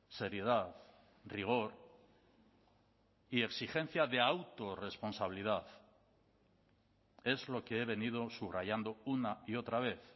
seriedad rigor y exigencia de autorresponsabilidad es lo que he venido subrayando una y otra vez